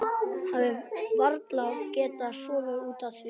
Hafi varla getað sofið út af því.